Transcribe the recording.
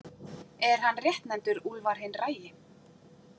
Er hann réttnefndur Úlfar hinn ragi.